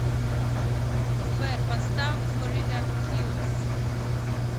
сбер поставь флорида килос